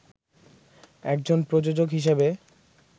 একজন প্রযোজক হিসেবে